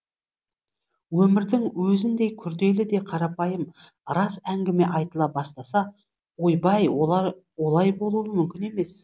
өмірдің өзіндей күрделі де қарапайым рас әңгіме айтыла бастаса ойбай олай болуы мүмкін емес